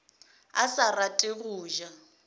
a sa rate go ja